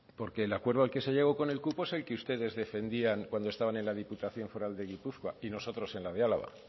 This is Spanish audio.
porque el acuerdo al que se ha llegado con el cupo es el que ustedes defendían cuando estaban en la diputación foral de gipuzkoa y nosotros en la de álava